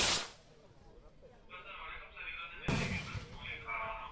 hello sir வணக்கம் sir இது வந்து நெல்லை cables உங்களுக்கு என்ன sir வேணும்